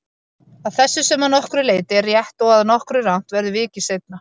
Að þessu, sem að nokkru leyti er rétt og að nokkru rangt, verður vikið seinna.